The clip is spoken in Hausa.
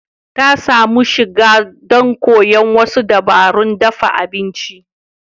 Ta samu shiga don koyon wasu dabarun dafa abinci.